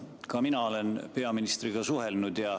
Ka mina olen peaministriga suhelnud.